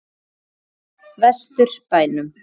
Vestur bænum.